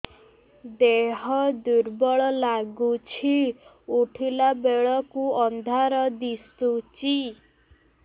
ଦେହ ଦୁର୍ବଳ ଲାଗୁଛି ଉଠିଲା ବେଳକୁ ଅନ୍ଧାର ଦିଶୁଚି